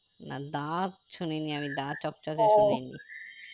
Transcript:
না দা শুনিনি আমি দা চকচকে শুনিনি